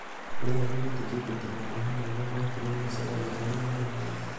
kurĩ angĩ metĩkĩtie atĩ maroho ma aria makuire nĩmaceragĩra aria marĩ muoyo.